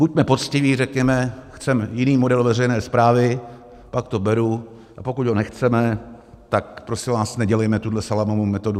Buďme poctiví, řekněme: Chceme jiný model veřejné správy, pak to beru, a pokud ho nechceme, tak prosím vás, nedělejme tuhle salámovou metodu.